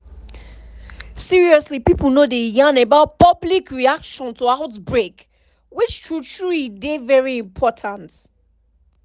seriously pipo no dey yarn about public reaction to outbreak which true true e dey very important